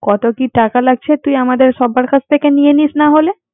কত কি টাকা লাগছে তুই আমাদের সবার কাছ থেকে নিয়ে নিস না হলে